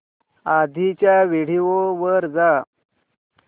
आधीच्या व्हिडिओ वर जा